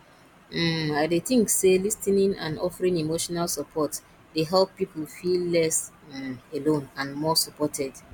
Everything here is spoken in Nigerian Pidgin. um i dey think say lis ten ing and offeering emotional support dey help people feel less um alone and more supported